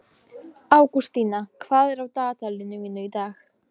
Ágústína, hvað er á dagatalinu mínu í dag?